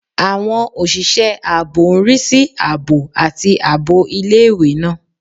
Àwọn òṣìṣẹ́ ààbò ń rí sí ààbò àti ààbò ilé-ìwé náà